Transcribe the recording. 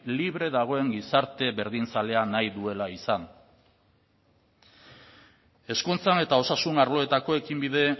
libre dagoen gizartea berdinzalea nahi duela izan hezkuntzan eta osasun arloetako ekinbide